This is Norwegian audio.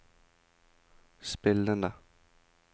spillende